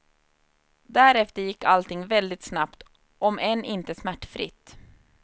Därefter gick allting väldigt snabbt, om än inte smärtfritt.